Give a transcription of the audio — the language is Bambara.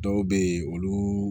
Dɔw bɛ yen olu